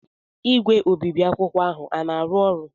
igwe obibi akwụkwọ ahụ a na-arụ ọrụ?